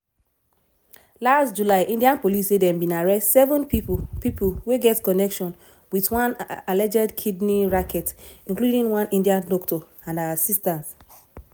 last july india police say dem bin arrest seven pipo pipo wey get connection wit one alleged kidney racket including one india doctor and her assistant.